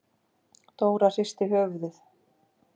Dóra hristi höfuðið.